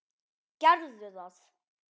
Gerðu það.